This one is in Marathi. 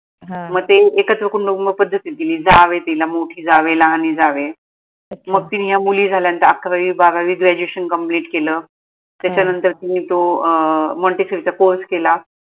म ते एकत्र कुटुंब कुटुंब पद्धतीत दिली जावए तिला मोठी जावए लहानी जावए मग तिनी या मुली झाल्यानंतर अकरावी बारावी graduation complete केल त्याच्यानंतर तिनी तो अं montessori चा course केला.